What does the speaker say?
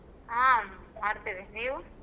ಹಾ ಮಾಡ್ತೇವೆ ನೀವು?